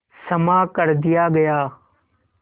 क्षमा कर दिया गया